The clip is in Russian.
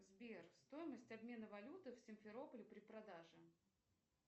сбер стомость обмена валюты в симферополе при продаже